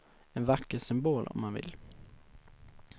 En vacker symbol, om man vill.